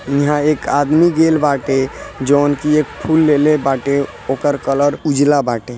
यहाँ एक आदमी गेल बाटे जोन की एक फूल लेले बाटे ओकर कलर उजला बाटे।